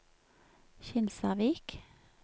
Kinsarvik